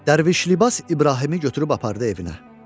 Dərviş libas İbrahimi götürüb apardı evinə.